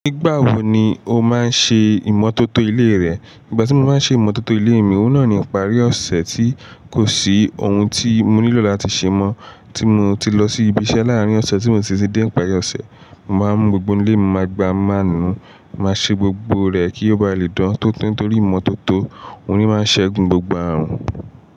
Nígbà wo ni o máa ń ṣe ìmọ́tótó ilé rẹ? Ìgbà tí mo ma ń ṣe ìmọ́tótó ilé mi, òun náà ni ìparí ọ̀sẹ̀ tí kò sí ohun tí mo nílò láti ṣe mọ́ tí mo ti lọ sí ibi iṣẹ́ láàárín ọ̀sẹ̀ tí mo sì ti dé ìparí ọ̀sẹ̀. Mo máa ń mú gbogbo ilé mi mo ma gbá mo ma nù, màá ṣe gbogbo rẹ̀ kí ó ba lè dán tó tó torí ìmọ́tótó òun ni ó máa ń ṣẹ́gun gbogbo ààrùn.